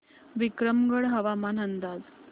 विक्रमगड हवामान अंदाज